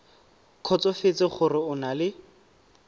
kgotsofetse gore o na le